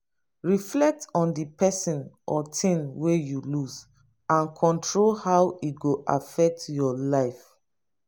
reflect on di person or thing wey you lose and control how e go affect your life